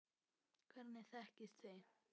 Hvernig þekkist þið?